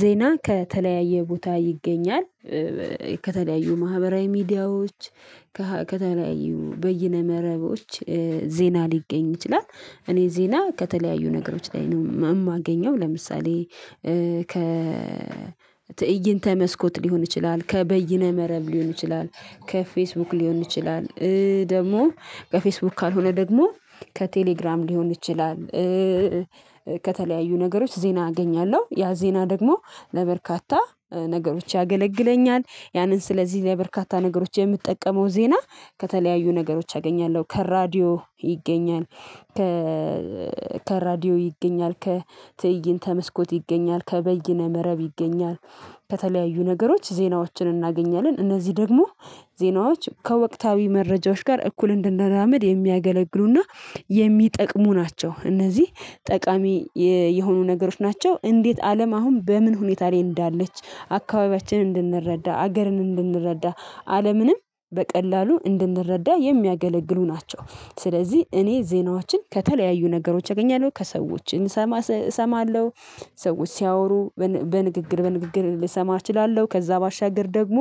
ዜና ከተለያየ ቦታ ይገኛል። ከተለያዩ ማህበራዊ ሚዲያዎች ከተለያዩ በየነ መረቦች ዜና ሊገኝ ይችላል። እኔ ዜና ከተለያዩ ነገሮች ላይ ነው የማገኘው ለምሳሌ። ከ ትእይንተ መስኮት ሊሆን ይችላል ከበይነ መረብ ሊሆን ይችላል ከፌስቡክ ሊሆን ይችላል ደግሞ በፌስቡክ ካልሆነ ደግሞ ከቴሌግራም ሊሆን ይችላል። ከተለያዩ ነገሮች ዜና አገኛለሁ ያ ዜና ደግሞ ለበርካታ ነገሮች ያገለግለኛል። ያንን ስለዚህ ለበርካታ ነገሮች የምትጠቀመው ዜና ከተለያዩ ነገሮች አገኛለሁ ከራዲዮ ይገኛል። ከ ከራዲዮ ይገኛል ከትእይንተ መስኮት ይገኛል ከበይነ መረብ ይገኛል። ከተለያዩ ነገሮች ዜናዎችን እናገኛለን እነዚህ ደግሞ ዜናዎች ከወቅታዊ መረጃዎች ጋር እኩል እንድንራመድ የሚያገለግሉ እና የሚጠቅሙ ናቸው እነዚህ ጠቃሚ የሆኑ ነገሮች ናቸው። እንዴት አለም አሁን በምን ሁኔታ ላይ እንዳለች አካባቢያችንን እንድንረዳ አገርን እንድንረዳ አለምንም በቀላሉ እንድንረዳ የሚያገለግሉ ናቸው። ስለዚህ እኔ ዜናዎችን ከተለያዩ ነገሮች አገኛለሁ ከሰዎች እሰማ እሰማለሁ። ሰዎች ሲያወሩ በንግግር በንግግር ልሰማ እችላለሁ። ከዛ ባሻገር ደግሞ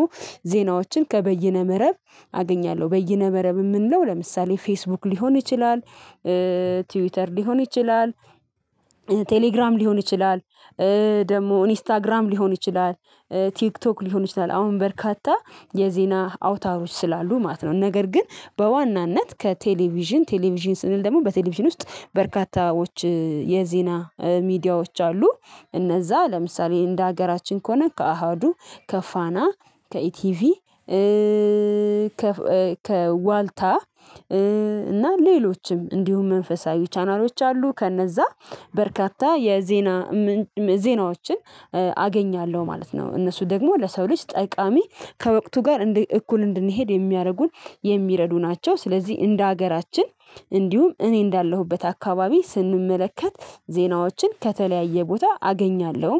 ዜናዎችን ከበይነ መረብ አገኛለሁ በይነ መረብ የምንለው ለምሳሌ ፌስቡክ ሊሆን ይችላል። ትዊተር ሊሆን ይችላል። ቴሌግራም ሊሆን ይችላል። ደግሞ ኢንስታግራም ሊሆን ይችላል ቲክቶክ ሊሆን ይችላል። አሁን በርካታ የዜና አውታሮች ስላሉ ማለት ነው። ነገር ግን በዋናነት ከቴሌቪዥን ቴሌቪዥን ስንል ደግሞ በቴሌቪዥን ውስጥ በርካታዎች የዜና ሚዲያዎች አሉ። እነዛ ለምሳሌ እንደ ሀገራችን ከሆነ ከአሀዱ ከፋና ከኢቲቪ ከዋልታ እና ሌሎችም እንዲሁም መንፈሳዊ ቻናሎች አሉ። ከነዛ በርካታ የዜና ዜናዎችን አገኛለሁ ማለት ነው። እነሱ ደግሞ ለሰው ልጅ ጠቃሚ ከወቅቱ ጋር እንደ እኩል እንድንሄድ የሚያደርጉን የሚረዱ ናቸው። ስለዚህ እንደ ሀገራችን እንዲሁም እኔ እንዳለሁበት አካባቢ ስንመለከት ዜናዎችን ከተለያየ ቦታ አገኛለሁ